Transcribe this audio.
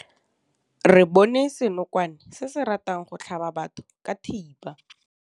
Re bone senokwane se se ratang go tlhaba batho ka thipa.